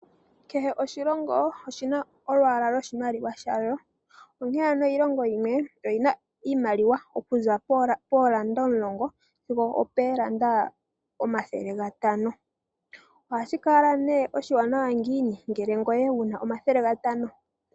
Kehe oshilongo oshi na olwaala lwoshimaliwa shalwo, onkene ano kehe oshilongo oshi na iimaliwa okuza pooranda omulongo sigo oopooranda omathele gatano. Ohashi kala nee oshiwanawa ngiini ngele ngoye wu na omathele gatano?